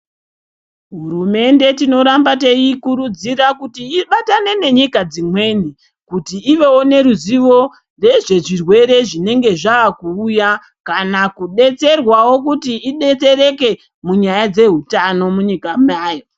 HUrumende tinorambe teikurudzira kuti ibatane nenyika dzimweni kuti ivewo neruzivo rezve zvirwere zvinenge zvakuuya kana kudetserwawo kuti idetsereke munyaya dzehutano munyika mayo